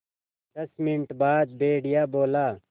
दस मिनट बाद भेड़िया बोला